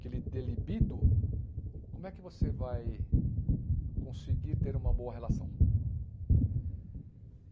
que lhe dê libido, como é que você vai conseguir ter uma boa relação?